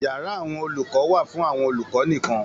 Yàrá àwọn olùkọ wà fún àwọn olùkọ nìkan.